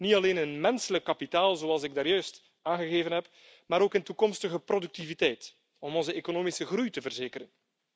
niet alleen in menselijk kapitaal, zoals ik juist aangegeven heb, maar ook in toekomstige productiviteit, om onze economische groei te verzekeren.